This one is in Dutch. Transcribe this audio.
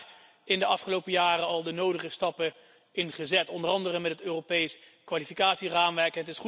We hebben daar in de afgelopen jaren al de nodige stappen in gezet, onder andere met het Europees kwalificatieraamwerk.